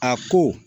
A ko